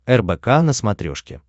рбк на смотрешке